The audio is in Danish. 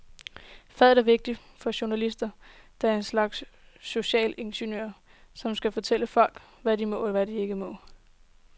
Faget er vigtigt, fordi jurister er en slags sociale ingeniører, som skal fortælle folk, hvad de må og ikke må.